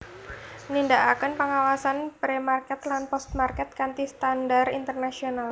Nindakaken pengawasan Pre Market lan Post Market kanthi standar internasional